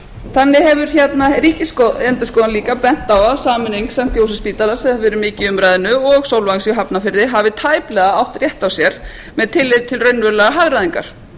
þannig hefur ríkisendurskoðun líka bent á að sameining st jósefsspítala sem hefur verið mikið í umræðunni og sólvangs í hafnarfirði hafi tæplega átt rétt á sér með tilliti til til raunverulegrar hagræðingar